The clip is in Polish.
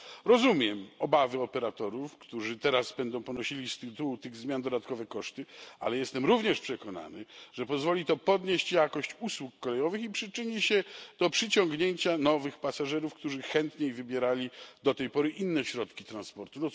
Rozumiem obawy operatorów, którzy teraz będą ponosili z tytułu tych zmian dodatkowe koszty, ale jestem również przekonany, że pozwoli to podnieść jakość usług kolejowych i przyczyni się do przyciągnięcia nowych pasażerów, którzy chętniej wybierali do tej pory inne środki transportu.